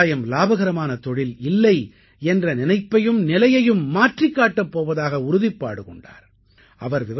விவசாயம் இலாபகரமான தொழில் இல்லை என்ற நினைப்பையும் நிலையையும் மாற்றிக் காட்டப் போவதாக உறுதிப்பாடு கொண்டார்